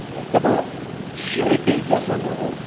D'abord sur les pays de la zone euro.